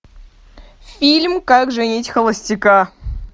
фильм как женить холостяка